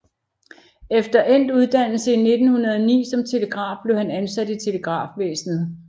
Efter endt uddannelse i 1909 som telegraf blev han ansat i Telegrafvæsenet